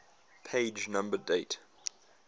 page number date